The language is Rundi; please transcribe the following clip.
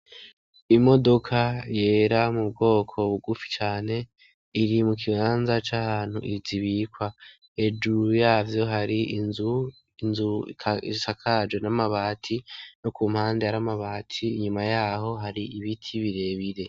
Imodoka yera mu bwoko bugufi cane. Iri mu kibanza c'ahantu zibikwa hejuru yavyo hari inzu isakaje n'amabati yo ku mpande yari amabati inyuma yaho hari ibiti birebire.